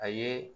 A ye